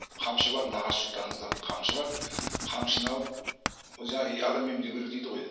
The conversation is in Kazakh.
қамшы бар нағашы жұрттарыңызда бір қамшы бар қамшыны алып жаңағы адам емдеуі керек дейді ғой енді